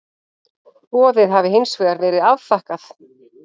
Boðið hafi hins vegar verið afþakkað